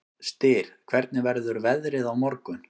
Styr, hvernig verður veðrið á morgun?